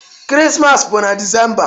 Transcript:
Krismas bụ na December